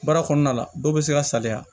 Baara kɔnɔna la dɔw bɛ se ka saliya